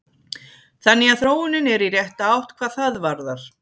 Þannig að þróunin er í rétta átt hvað það varðar.